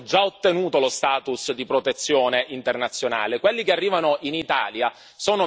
Quelli che arrivano in Italia sono migranti che, per via di Dublino, rimangono in Italia.